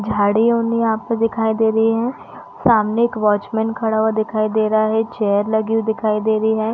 झाड़ी-ऊनि आपको दिखाई दे रही है सामने एक वॉचमैन खड़ा हुआ दिखाई दे रहा है चेयर लगी हुई दिखाई दे रही है।